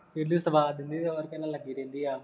ਇਹਨੂੰ ਸਵਾਦ ਨਹੀਂ ਹੋਰ ਕਿਸੇ ਨਾਲ ਲੱਗੀ ਰਹਿੰਦੀ ਆ